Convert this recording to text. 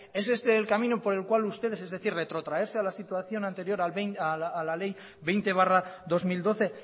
es este el camino por el cual ustedes es decir retrotraerse a la situación anterior a la ley veinte barra dos mil doce